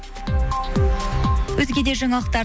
өзге де жаңалықтар